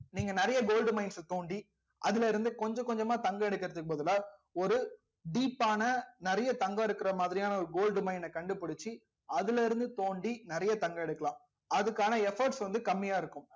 நீங்க நிறைய gold mines அ தோண்டி அதுல இருந்து கொஞ்சம் கொஞ்சமா தங்கம் எடுக்குறதுக்கு பதிலா ஒரு deep ஆன நிறைய தங்கம் இருக்கிற மாதிரியான ஒரு gold mines அ கண்டுபிடிச்சு அதுல இருந்து தோண்டி நிறைய தங்கம் எடுக்கலாம் அதுக்கான efforts வந்து கம்மியா இருக்கும்